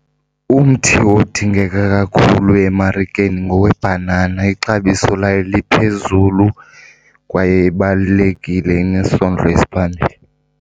Umthi odingeka kakhulu emarikeni ngowebhanana. Ixabiso layo liphezulu kwaye ibalulekile, inesondlo esiphambili.